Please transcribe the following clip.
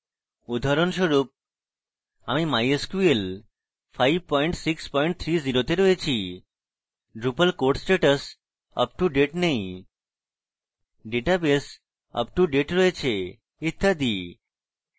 উদাহরণস্বরূপআমি mysql 5630 এ রয়েছি drupal core status up to date নেই database আপটুডেট রয়েছে ইত্যাদি